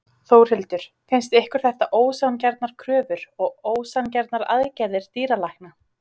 Þórhildur: Finnst ykkur þetta ósanngjarnar kröfur og ósanngjarnar aðgerðir dýralækna?